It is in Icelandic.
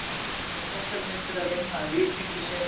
Hann var um þessar mundir að vinna að lýsingu sinni á